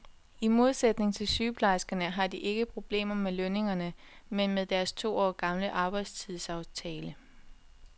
I modsætning til sygeplejerskerne har de ikke problemer med lønningerne, men med deres to år gamle arbejdstidsaftale.